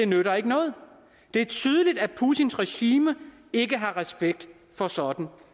nytter noget det er tydeligt at putins regime ikke har respekt for sådan